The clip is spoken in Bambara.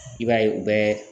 I b'a ye u bɛ